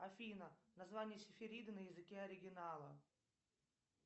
афина название сифириды на языке оригинала